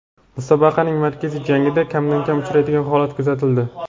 Musobaqaning markaziy jangida kamdan-kam uchraydigan holat kuzatildi.